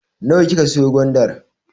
Nawa kika siyo gwandar?